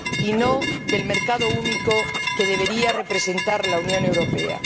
sino la del mercado único que debería representar la Unión Europea.